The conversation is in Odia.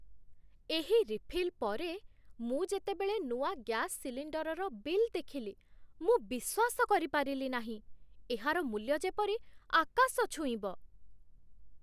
ଏହି ରିଫିଲ୍ ପରେ, ମୁଁ ଯେତେବେଳେ ନୂଆ ଗ୍ୟାସ୍ ସିଲିଣ୍ଡର୍‌ର ବିଲ୍ ଦେଖିଲି, ମୁଁ ବିଶ୍ୱାସ କରିପାରିଲି ନାହିଁ। ଏହାର ମୂଲ୍ୟ ଯେପରି ଆକାଶ ଛୁଇଁବ !